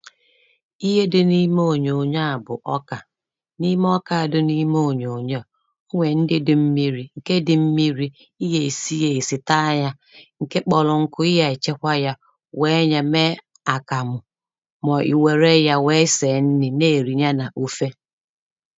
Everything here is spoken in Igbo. ihe dị n’ime ònyònyo a bụ̀ ọkà n’ime ọka a dị n’ime ònyònyo ọ̀ nwèe ndị dị mmiri̇ ǹke dị mmiri̇ ị yè si yȧ èsị taa yȧ ǹke kpọrọ ǹkụ̀ ị yè chekwa yȧ wèe nye mee àkàmụ̀ mà ọ̀ i wère yȧ wèe sèè nri̇ na-èrìnya n’ofe